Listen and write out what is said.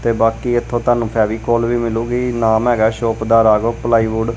ਤੇ ਬਾਕੀ ਏੱਥੋਂ ਤੁਹਾਨੂੰ ਫੈਵੀਕੋਲ ਵੀ ਮਿਲੂਗੀ ਨਾਮ ਹੈਗਾ ਹੈ ਸ਼ੌਪ ਦਾ ਰਾਘਵ ਪਲਾਈਵੁੱਡ ।